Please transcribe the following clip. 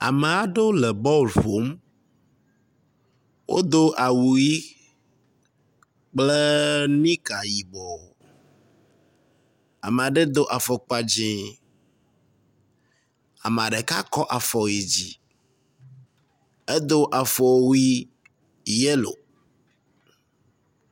Ame aɖewo le bɔl ƒom. Wodo awu ʋi kple nika yibɔ. Ame aɖe do afɔkpa dzi. ame ɖeka kɔ afɔ yi dzi. edo afɔwui yelo.